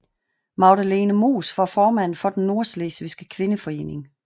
Magdalene Moos var formand for Den Nordslesvigske Kvindeforening